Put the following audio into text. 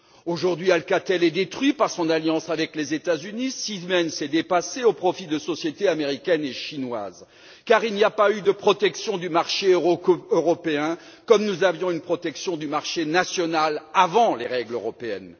Aujourd'hui, Alcatel est détruit par son alliance avec les États Unis, Siemens est dépassé au profit de sociétés américaines et chinoises, car il n'y a pas eu de protection du marché européen, comme nous avions une protection du marché national avant les règles européennes.